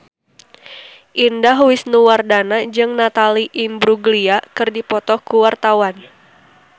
Indah Wisnuwardana jeung Natalie Imbruglia keur dipoto ku wartawan